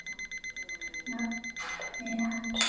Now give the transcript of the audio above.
nafni hans.